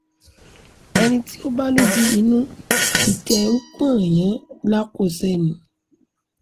ẹni tí ó bá lójú inú títa ẹ̀ ń pọ́n yàn lákọṣe ni